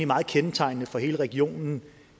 meget kendetegnende for hele regionen